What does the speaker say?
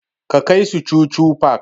Ka kai su chuchu park!